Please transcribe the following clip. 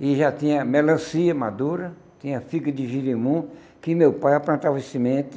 e já tinha melancia madura, tinha figa de gerimum, que meu pai plantava o semente,